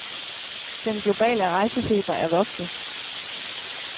Den globale rejsefeber er vokset.